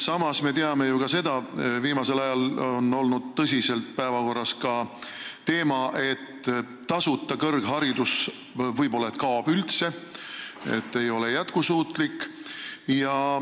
Samas, me teame ju ka seda, et viimasel ajal on olnud tõsiselt päevakorras teema, et tasuta kõrgharidus kaob võib-olla üldse, sest see ei ole jätkusuutlik.